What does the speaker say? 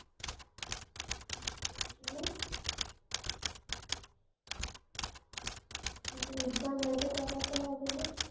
आता Exame आहे त करात लागेल न.